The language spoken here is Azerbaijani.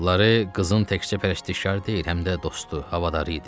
Lare qızın təkcə pərəstişkarı deyil, həm də dostu, havadarı idi.